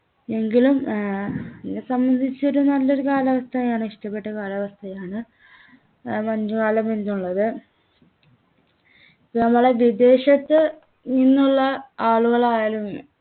എങ്കിലും ഏർ എന്നെ സംബന്ധിച്ച് ഒരു നല്ലൊരു കാലാവസ്ഥയാണ് ഇഷ്ടപ്പെട്ട കാലാവസ്ഥയാണ് ഏർ മഞ്ഞുകാലം എന്നുള്ളത് ഇപ്പൊ നമ്മളെ വിദേശത്ത് നിന്നുള്ള ആളുകളായാലും